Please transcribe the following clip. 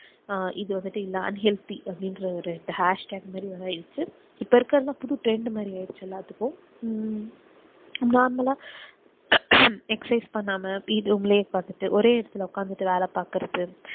அஹ் இது வந்துட்டு இல்ல unhealthy அப்டின்ற ஒரு hashtag மாறி வந்துருச்சு இப்போ இருக்குறது புது trend மாறி ஆகிருச்சு எல்லாத்துக்கும் உம் normal அஹ் exercise பண்ணாம வீட் room லேஉக்காந்துட்டு ஒரே இடத்துல உக்காந்துட்டு வேலைப்பாக்குறது